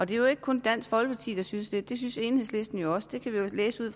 det er jo ikke kun dansk folkeparti der synes det det synes enhedslisten jo også det kan vi jo læse i